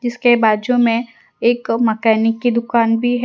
इसके बाजू में एक मैकेनिक की दुकान भी है।